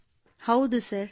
ಕೃತ್ತಿಕಾ ಹೌದು ಸರ್